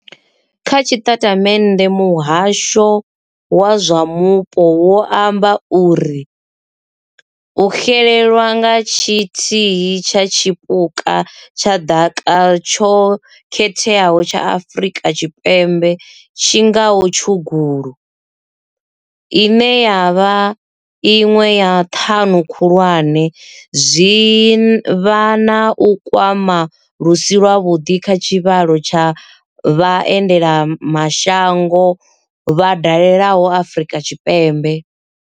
Kha tshiṱatamennde muhasho wa zwa Mupo wo amba uri. U xelelwa nga tshithihi tsha tshipuka tsha ḓaka tsho khetheaho tsha Afurika Tshipembe tshi ngaho tshugulu, ine ya vha iṅwe ya ṱhanu khulwane, zwi vha na u kwama lu si lwavhuḓi kha tshivhalo tsha vha endelamashango vha dalelaho Afrika Tshipembe.